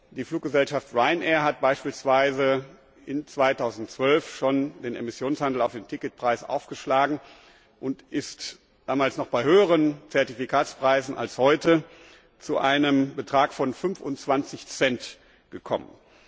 Die Fluggesellschaft Ryanair hat beispielsweise im Jahr 2012 schon den Emissionshandel auf den Ticketpreis aufgeschlagen und ist damals noch bei höheren Zertifikatspreisen als heute zu einem Betrag von 25 Cent gekommen.